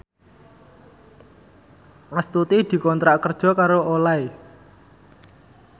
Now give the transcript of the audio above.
Astuti dikontrak kerja karo Olay